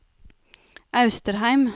Austrheim